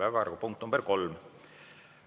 Päevakorrapunkt nr 3: